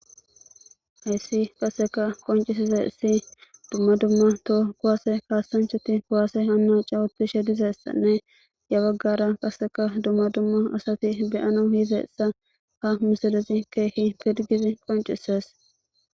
Hayssi qaseka qoncisesa issi dumma dumma to kuwaase kaasanchati kuwaase hanna cawutishe dizessanne ya baggara qaseka dumma dumma asati beyano hiize issa ha misolezi keehi pirgizi qoncises.